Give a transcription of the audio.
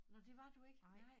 Nå det var du ikke nej?